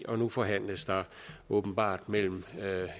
og nu forhandles der åbenbart mellem